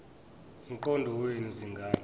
mqondo wenu zingane